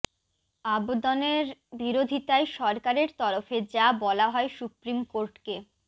আবদনের বিরোধিতায় সরকারের তরফে যা বলা হয় সুপ্রিম কোর্টকে